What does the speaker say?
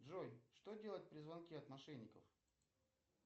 джой что делать при звонке от мошенников